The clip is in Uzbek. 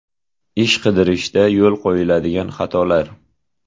Ish qidirishda yo‘l qo‘yiladigan xatolar.